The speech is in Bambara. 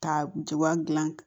Ka jagoya dilan